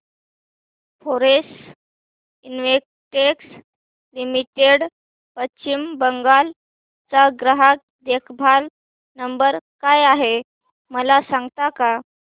Florence Investec limited Paschim Bangal चा ग्राहक देखभाल नंबर काय आहे मला सांगता का